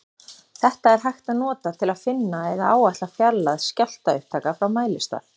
Þetta er hægt að nota til að finna eða áætla fjarlægð skjálftaupptaka frá mælistað.